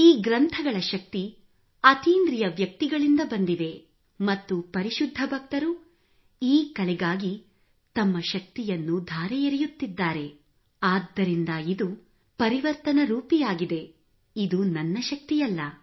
ಈ ಗ್ರಂಥಗಳ ಶಕ್ತಿ ಅತೀಂದ್ರಿಯ ವ್ಯಕ್ತಿಗಳಿಂದ ಬಂದಿವೆ ಮತ್ತು ಪರಿಶುದ್ಧ ಭಕ್ತರು ಈ ಕಲೆಗಾಗಿ ತಮ್ಮ ಶಕ್ತಿಯನ್ನು ಧಾರೆ ಎರೆಯುತ್ತಿದ್ದಾರೆ ಆದ್ದರಿಂದ ಇದು ಪರಿವರ್ತನಾರೂಪಿಯಾಗಿದೆ ಇದು ನನ್ನ ಶಕ್ತಿಯಲ್ಲ